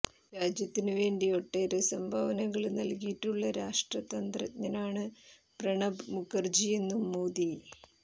രാജ്യത്തിന് വേണ്ടി ഒട്ടേറെ സംഭാവനകള് നല്കിയിട്ടുള്ള രാഷ്ട്രതന്ത്രജ്ഞനാണ് പ്രണബ് മുഖര്ജിയെന്നും മോദി